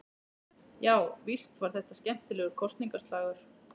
Já, víst var þetta skemmtilegur kosningaslagur.